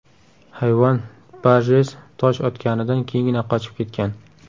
Hayvon Barjess tosh otganidan keyingina qochib ketgan.